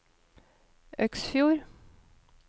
Øksfjord